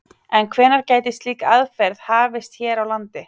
En hvenær gæti slík aðferð hafist hér á landi?